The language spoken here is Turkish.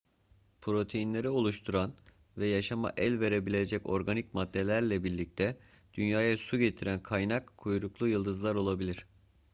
proteinleri oluşturan ve yaşama el verebilecek organik maddelerle birlikte dünyaya su getiren kaynak kuyruklu yıldızlar olabilir